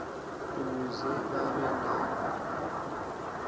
uluze babe nako